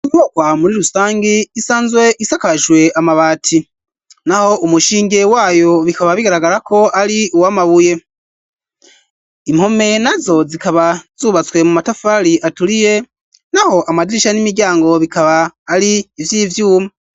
Inyubakwa muri rusangi isanzwe isakajwe amabati naho umushinge wayo bikaba bigaragara ko ari uwamabuye impome na zo zikaba zubatswe mu matafari aturiye naho amadirisha n'imiryango bikaba ari ivy'ivyuma.